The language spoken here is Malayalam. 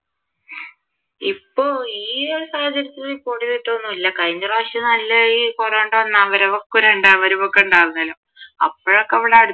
ഇപ്പൊ ഈ ഒരു സാഹചര്യത്തിൽ report ചെയ്തിട്ട് ഒന്നും ഇല്ല കഴിഞ്ഞ പ്രാവിശ്യം നല്ല ഈ കൊറോണയുടെ ഒന്നാം വരവും രണ്ടാം വരവും ഒക്കെ ഉണ്ടായിരുന്നല്ലോ അപ്പോഴൊക്കെ ഇവിടെ